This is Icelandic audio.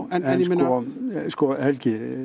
en sko Helgi